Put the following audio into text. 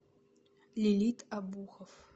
лилит обухов